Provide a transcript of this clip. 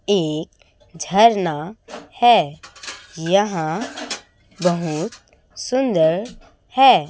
ये झरना है यहां बहुत सुंदर है।